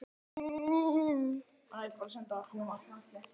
Röddinni í eyra hans var nú auðheyrilega skemmt.